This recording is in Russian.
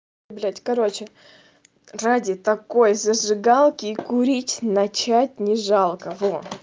блять короче ради такой зажигалки и курить начать не жалко во